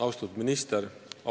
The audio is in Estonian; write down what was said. Austatud minister!